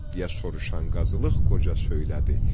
deyə soruşan qazılıq qoca söylədi.